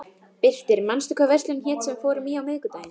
Birtir, manstu hvað verslunin hét sem við fórum í á miðvikudaginn?